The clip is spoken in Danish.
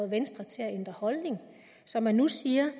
venstre til at ændre holdning så man nu siger